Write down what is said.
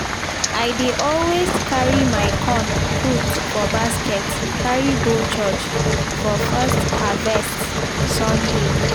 i dey always carry my corn put for basket carry go church for first harvest sunday